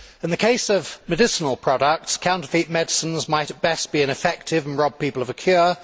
In the case of medicinal products, counterfeit medicines might, at best, be ineffective and rob people of a cure